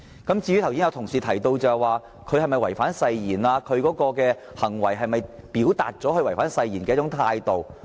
剛才有同事問及他是否已違反誓言，以及他的行為是否已表達他違反誓言的態度。